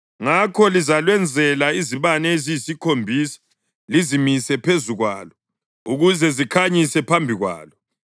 Ngakho lizalwenzela izibane eziyisikhombisa lizimise phezu kwalo ukuze zikhanyise phambi kwalo.